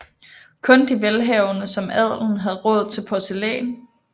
Kun de velhavende som adelen havde råd til porcelæn